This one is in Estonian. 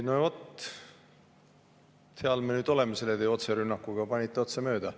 No vot, seal me nüüd oleme selle teie otserünnakuga, panite otse mööda.